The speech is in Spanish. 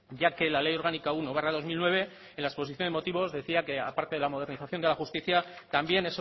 ya que la ley orgánica uno barra dos mil nueve en la exposición de motivos decía que aparte de la modernización de la justicia también